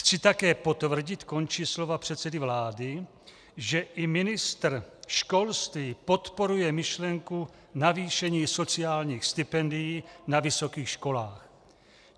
Chci také potvrdit - končí slova předsedy vlády -, že i ministr školství podporuje myšlenku navýšení sociálních stipendií na vysokých školách.